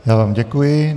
Já vám děkuji.